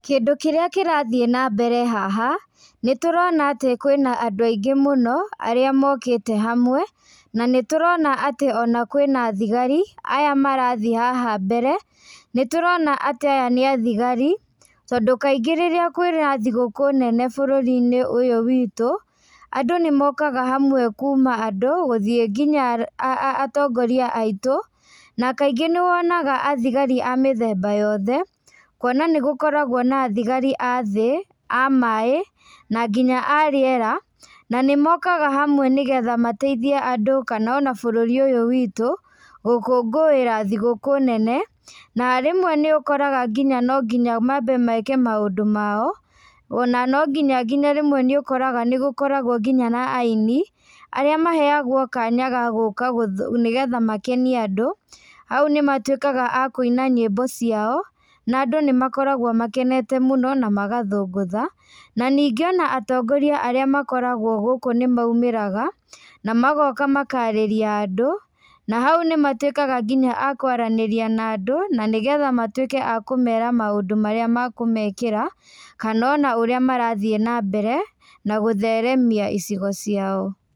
Kĩndũ kĩrĩa kĩrathiĩ nambere haha, nĩtũrona atĩ kwĩna andũ aingĩ mũno, arĩa mokĩte hamwe, na nĩtũrona atĩ ona kwĩna thigari, aya marathiĩ haha mbere, nĩtũrona atĩ aya nĩ athigari, tondũ kaingĩ rĩrĩa kwĩna thigũkũ nene bũrũrĩnĩ ũyũ witũ, andũ nĩmokaga hamwe kuma andũ gũthiĩ nginya atongoria aitũ, na kaingĩ nĩwonaga athigari a mĩthemba yothe, kuona nĩgũkoragwo na thigari a thĩ, a maĩ, na nginya arĩera, na nĩmokaga hamwe nĩgetha mateithie andũ kana ona bũrũri ũyũ witũ, gũkũngũĩra thigũkũ nene, na rĩmwe nĩũkoraga nginya nonginya mambe meke maũndũ mao, ona no nginya nginya rĩmwe nĩũkoraga nĩgũkoragwo nginya na iani, arĩa maheagwo kanya ga gũka gũ nĩgetha makenie andũ, hau nĩmatuĩkaga a kũina nyĩmbo ciao, na andũ nĩmakoragwo makenete mũno, namagathũngũtha, na ningĩ ona atongorĩa arĩa makoragwo gũkũ nĩmaumĩraga, namagoka makarĩria andũ, na hau nĩmatuĩkaga nginya a kwaranĩria na andũ, na nĩgetha matuĩke a kũmera maũndũ marĩa makũmekĩra, kana ona ũrĩa marĩthiĩ nambere, na gũtheremia icigo ciao.